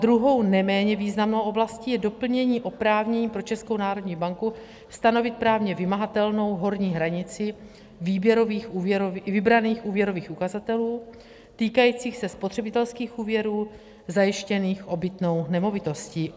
Druhou, neméně významnou oblastí je doplnění oprávnění pro Českou národní banku stanovit právně vymahatelnou horní hranici vybraných úvěrových ukazatelů týkajících se spotřebitelských úvěrů zajištěných obytnou nemovitostí.